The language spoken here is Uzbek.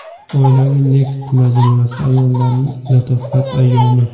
Oilaviy Next majmuasida ayollarning latofat ayyomi.